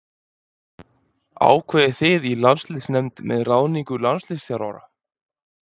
Ákveðið þið í landsliðsnefnd með ráðningu landsliðsþjálfara?